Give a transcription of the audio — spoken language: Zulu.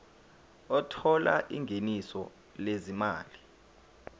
othola ingeniso lezimali